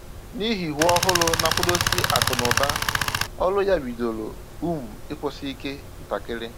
N’ihi iwu òhùrù na-akwado si akụ́ na ụ̀ba, ọrụ ya bidoro um ịkwụsị ike ntakiri